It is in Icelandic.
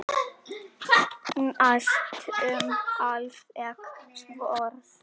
Næstum alveg svört.